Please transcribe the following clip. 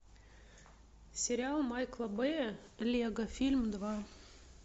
сериал майкла бэя лего фильм два